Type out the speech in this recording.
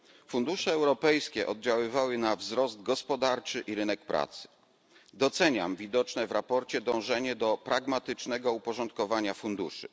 Fundusze europejskie oddziaływały na wzrost gospodarczy i rynek pracy. Doceniam widoczne w sprawozdaniu dążenie do pragmatycznego uporządkowania funduszy.